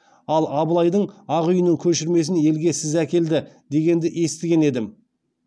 ал абылайдың ақ үйінің көшірмесін елге сіз әкелді дегенді естіген едім